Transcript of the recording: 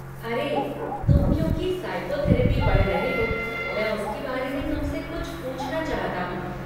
अरे, तुम क्योंकि साइकोथेरपी पढ़ रहे हो, मैं उसके बारे में तुमसे कुछ पूछना चाहता हूँ।